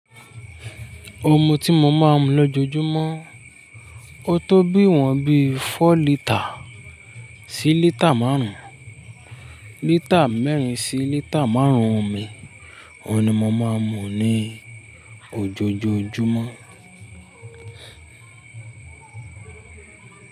Omi tí mo máa ń mu lójoojúmọ́, ó tó bíwọ́n bí fọ lítà sí lítà márùn-ún, lítà mẹ́rin sí lítà márùn-ún omi, òun ni mo máa ń mu ní ojoojúmọ́.